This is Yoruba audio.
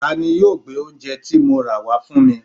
Tani yóò gbé oúnje ti mo rà wá fún mi?